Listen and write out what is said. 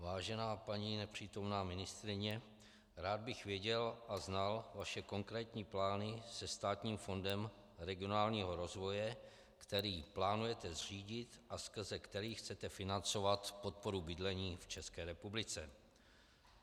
Vážená paní nepřítomná ministryně, rád bych věděl a znal vaše konkrétní plány se státním fondem regionálního rozvoje, který plánujete zřídit a skrze který chcete financovat podporu bydlení v České republice.